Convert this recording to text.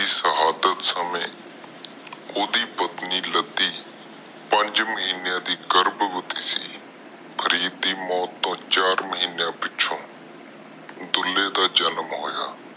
ਸਿਹਦਾਤ ਸਮੇ ਓਹਦੇ ਪਤਨੀ ਪੰਜ ਮਹੀਨੇ ਦੇ ਗਰਬ ਬਾਤੀ ਸੀ ਫਰੀਦ ਦੇ ਮੌਤ ਤੋਂ ਚਗਾਰ ਮਹੀਨਿਆ ਪਿੱਛੋਂ ਡੁਲ੍ਹੇ ਦਾ ਜਾਮਣ ਹੋਇਆ